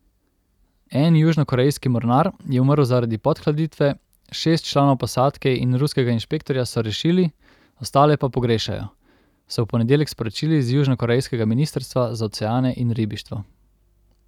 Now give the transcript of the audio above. En južnokorejski mornar je umrl zaradi podhladitve, šest članov posadke in ruskega inšpektorja so rešili, ostale pa pogrešajo, so v ponedeljek sporočili z južnokorejskega ministrstva za oceane in ribištvo.